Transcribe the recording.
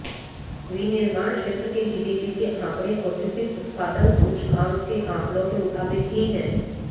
विनिर्माण क्षेत्र के जीडीपी के आंकड़े औद्योगिक उत्पादन सूचकांक के आंकड़ों के मुताबिक ही हैं